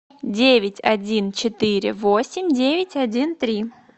девять один четыре восемь девять один три